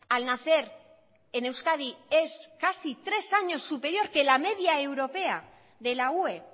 al nacer en euskadi es casi tres años superior que la media europea de la ue